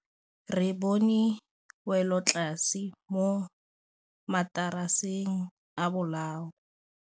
Re bone wêlôtlasê mo mataraseng a bolaô.